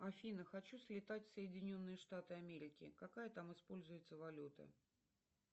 афина хочу слетать в соединенные штаты америки какая там используется валюта